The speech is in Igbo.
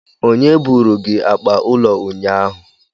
Onye buru gi akpa ulo unyanya?